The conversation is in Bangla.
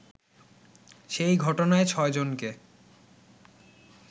সেই ঘটনায় ছয়জনকে